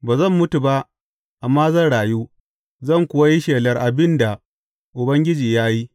Ba zan mutu ba amma zan rayu, zan kuwa yi shelar abin da Ubangiji ya yi.